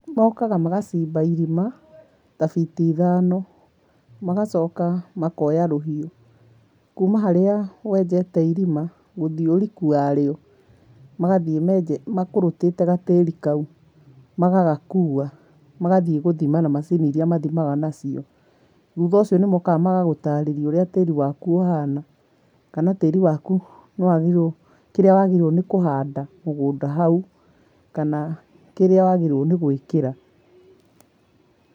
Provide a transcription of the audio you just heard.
Mokaga magacimba irima ta biti ithano, magacoka makoya rũhiũ, kuuma harĩa wenjete irima gũthiĩ ũriku warĩo, magathiĩ menjete makũrũtĩte gatĩri kau, magagakua magathiĩ gũthima na macini iria mathimaga nacio. Thutha ũcio nĩmokaga magagũtarĩrĩa ũrĩa tĩri waku ũhana kana tĩri waku nĩwagĩrĩ, kĩrĩa wagĩrĩire kũhanda mũgũnda hau kana kĩrĩa wagĩrĩirwo nĩ gwĩkĩra.